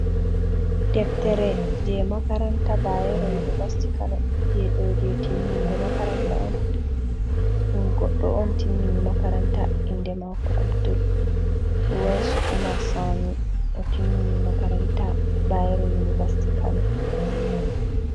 Deftere je makaranta bayero univarsiti kano nɗe do je timmungo makaranta oɗo on timmini makaranta, inde mako abdul waisu umar sami o timmini makaranta bayero univarsiti kano.